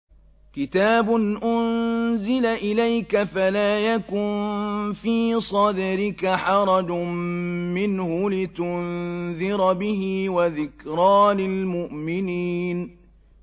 كِتَابٌ أُنزِلَ إِلَيْكَ فَلَا يَكُن فِي صَدْرِكَ حَرَجٌ مِّنْهُ لِتُنذِرَ بِهِ وَذِكْرَىٰ لِلْمُؤْمِنِينَ